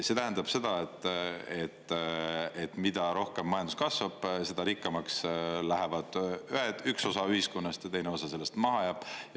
See tähendab seda, et mida rohkem majandus kasvab, seda rikkamaks lähevad ühed, üks osa ühiskonnast, ja teine osa sellest maha jääb.